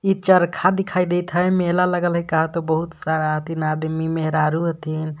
इ चरखा दिखाई देत ह मेला लगल ह का त बहुत सारा हथिन आदमी मेहरारू हथिन.